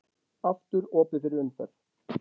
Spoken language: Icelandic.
Aftur opið fyrir umferð